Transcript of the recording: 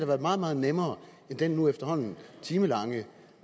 været meget meget nemmere end den nu efterhånden timelange